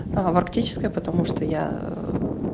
аа в арктической потому что я